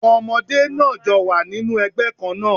Àwọn ọmọdé náà jọ wà nínú ẹgbẹ́ kán náà